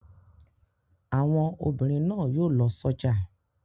Àwọn obìnrin náà yóò lọ sọ́jà.